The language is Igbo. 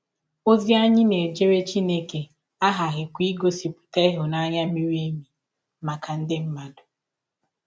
Ọzi anyị na - ejere Chineke aghaghịkwa igọsipụta ịhụnanya miri emi maka ndị mmadụ.